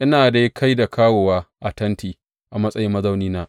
Ina dai kai da kawowa a tenti, a matsayin mazaunina.